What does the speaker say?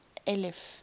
eliff